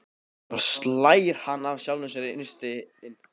Svo hlær hann að sjálfum sér innst inni.